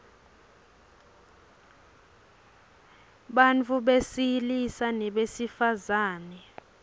ablalwa bantfu besilisa nebesifazang